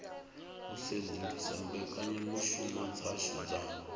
u sedzulusa mbekanyamushumo dzashu dza